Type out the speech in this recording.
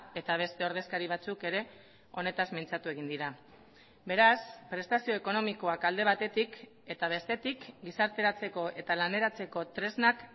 eta beste ordezkari batzuk ere honetaz mintzatu egin dira beraz prestazio ekonomikoak alde batetik eta bestetik gizarteratzeko eta laneratzeko tresnak